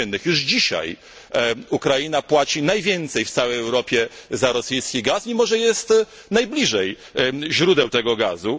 Już dzisiaj Ukraina płaci najwięcej w całej Europie za rosyjski gaz, mimo że jest najbliżej źródeł tego gazu.